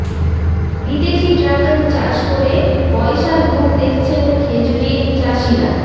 বিদেশি ড্রাগন চাষ করে পয়সার মুখ দেখছেন খেজুরির চাষিরা